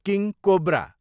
king cobra